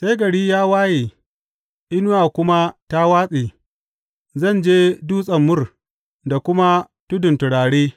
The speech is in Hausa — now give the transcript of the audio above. Sai gari ya waye inuwa kuma ta watse, zan je dutsen mur da kuma tudun turare.